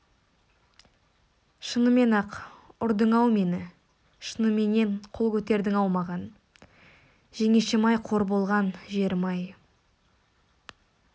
шынымен-ақ ұрдың-ау мені шыныменен қол көтердің-ау маған жеңешем-ай қор болған жерім-ай